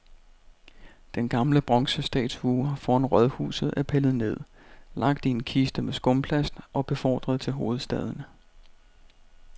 Den gamle bronzestatue foran rådhuset er pillet ned, lagt i en kiste med skumplast og befordret til hovedstaden.